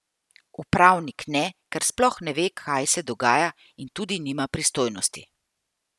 Upravnik ne, ker sploh ne ve, kaj se dogaja, in tudi nima pristojnosti.